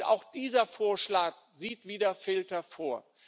Und auch dieser Vorschlag sieht wieder Filter vor.